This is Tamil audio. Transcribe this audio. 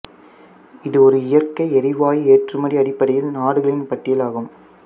இது ஒரு இயற்கை எரிவாயு ஏற்றுமதி அடிப்படையில் நாடுகளின் பட்டியல் ஆகும்